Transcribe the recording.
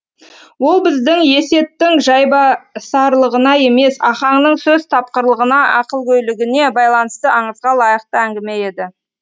ол біздің есеттің жайбасарлығына емес ахаңның сөз тапқырлығына ақылгөйлігіне байланысты аңызға лайықты әңгіме еді